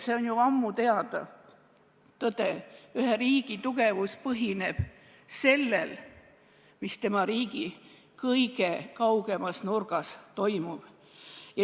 See on ju ammu teada tõde: ühe riigi tugevus põhineb sellel, mis tema riigi kõige kaugemas nurgas toimub.